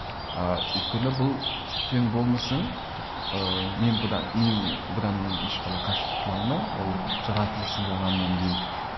ыыы өйткені бұл кең болмысың ыыы мен бұдан мен бұдан ешқалай қашып құтыла алмаймын ол жаратылысың болғаннан кейін